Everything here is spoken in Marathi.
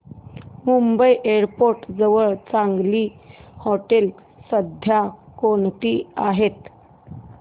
मुंबई एअरपोर्ट जवळ चांगली हॉटेलं सध्या कोणती आहेत